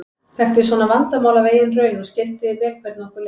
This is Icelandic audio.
Þekkti svona vandamál af eigin raun og skildi vel hvernig okkur leið.